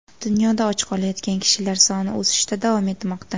Dunyoda och qolayotgan kishilar soni o‘sishda davom etmoqda.